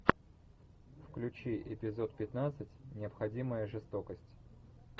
включи эпизод пятнадцать необходимая жестокость